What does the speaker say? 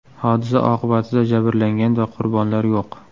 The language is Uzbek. Hodisa oqibatida jabrlangan va qurbonlar yo‘q.